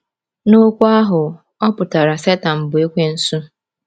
N'okwu ahụ, ọ pụtara Setan bụ́ Ekwensu.